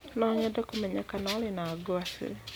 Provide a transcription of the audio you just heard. No nyende kũmenya kana ũrĩ na gwacĩ